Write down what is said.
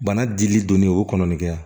Bana dili donnen o kɔnɔnera